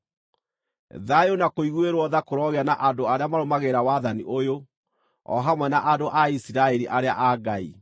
Thayũ na kũiguĩrwo tha kũrogĩa na andũ arĩa marũmagĩrĩra wathani ũyũ, o hamwe na andũ a Isiraeli arĩa a Ngai.